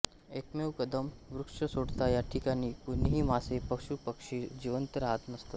एकमेव कदंब वृक्ष सोडता या ठिकाणी कुणीही मासे पशू पक्षी जिवंत राहत नसत